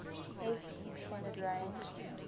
s extended range